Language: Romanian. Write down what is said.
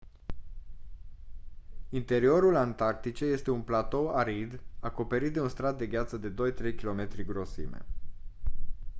interiorul antarcticei este un platou arid acoperit de un strat de gheață de 2-3 km grosime